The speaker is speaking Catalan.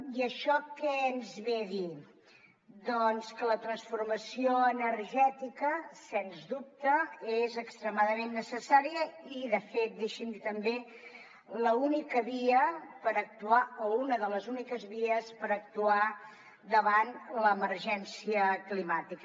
i això que ens ve a dir doncs que la transformació energètica sens dubte és extremadament necessària i de fet deixi’m dir també l’única via per actuar o una de les úniques vies per actuar davant l’emergència climàtica